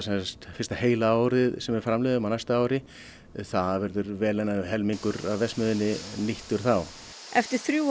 fyrsta heila árið sem við framleiðum á næsta ári þá verður vel innan við helmingur af verksmiðjunni þá eftir þrjú